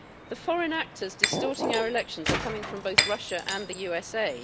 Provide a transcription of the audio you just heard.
The foreign actors distorting our elections are coming from both Russia and the USA.